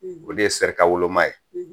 O de ye sɛrikawoloma ye